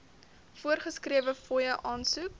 voorgeskrewe fooie aansoek